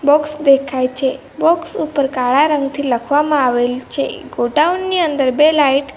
box દેખાય છે box ઉપર કાળા રંગથી લખવામાં આવેલ છે ગોડાઉન ની અંદર બે લાઈટ --